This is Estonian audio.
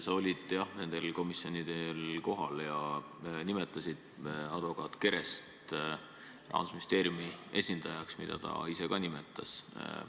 Sa olid, jah, nendel komisjoni istungitel kohal ja nimetasid advokaat Kerest Rahandusministeeriumi esindajaks, nagu ta end ka ise nimetas.